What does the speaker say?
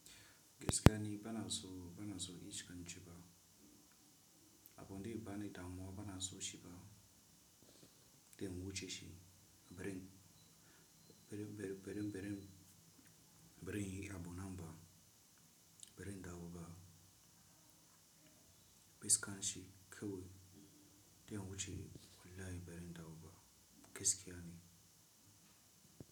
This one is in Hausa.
Gaskiya ne bana so, bana so in shiga in ciba. Abin da ya bani damuwa bana so shi ba. Da ya wuce shi, birin, birin, birin, birin, birin ya bi nan ba, birin dawo ba. Mai gaskashi kawai da ya wuce kullay birin dawo ba. Gaskiya ne.